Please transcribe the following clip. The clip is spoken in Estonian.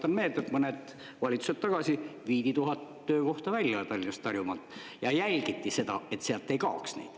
Tuletan meelde, et mõned valitsused tagasi viidi tuhat töökohta välja Tallinnast ja Harjumaalt ja jälgiti seda, et sealt ei kaoks neid.